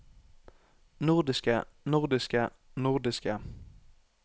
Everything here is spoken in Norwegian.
nordiske nordiske nordiske